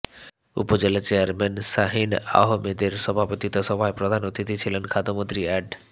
উপজেলা চেয়ারম্যান শাহীন আহমেদের সভাপতিত্বে সভায় প্রধান অতিথি ছিলেন খাদ্যমন্ত্রী অ্যাড